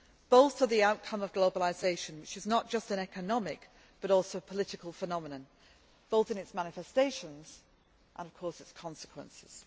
Both are the outcome of globalisation which is not just an economic but also a political phenomenon, both in its manifestations and, of course, its consequences.